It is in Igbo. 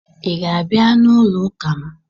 Ị ga-abịa n'ụlọ ụka m?